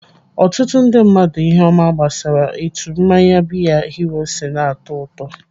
Ọtụtụ ndị mmadụ ihe ọma gbasara etu mmanya biya hero si na-atọ ụtọ.